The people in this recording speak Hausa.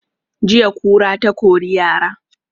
Jiya kura ta kori yara